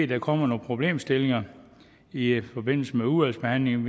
der kommer nogle problemstillinger i i forbindelse med udvalgsbehandlingen